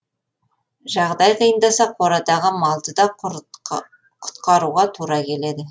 жағдай қиындаса қорадағы малды да құтқаруға тура келеді